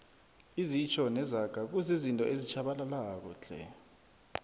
izitjho nezaga kuzizinto ezitjhabalalako tle